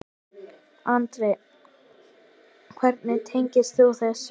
Andri: Hvernig tengist þú þessu?